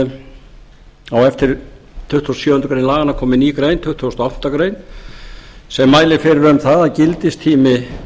á eftir tuttugustu og sjöundu grein laganna komi ný grein tuttugasta og áttundu greinar sem mælir fyrir um það að gildistími